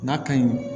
N'a ka ɲi